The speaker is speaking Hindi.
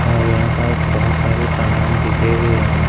और यहाँ पास बहोत सारे समाना बिखरे हुए हैं।